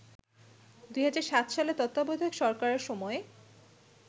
২০০৭ সালে তত্ত্বাবধায়ক সরকারের সময়